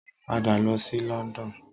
Pada lọ sí London!